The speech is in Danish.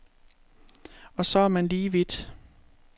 Og så er man lige vidt.